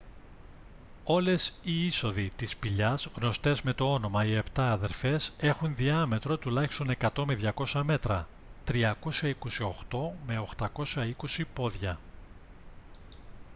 όλες οι είσοδοι της σπηλιάς γνωστές με το όνομα «οι επτά αδερφές» έχουν διάμετρο τουλάχιστον 100 με 200 μέτρα 328 με 820 πόδια